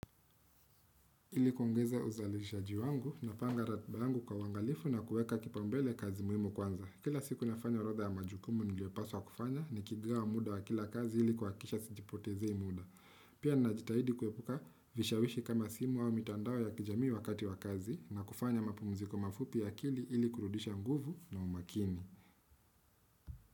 Ili kuongeza uzalishaji wangu napanga ratiba yangu kwa uangalifu na kuweka kipaumbele kazi muhimu kwanza. Kila siku nafanya orodha ya majukumu niliyopaswa kufanya nikigawa muda wa kila kazi ili kuhakikisha sijipotezei muda. Pia ninajitahidi kuepuka vishawishi kama simu au mitandao ya kijamii wakati wa kazi na kufanya mapumuziko mafupi ya akili ili kurudisha nguvu na umakini.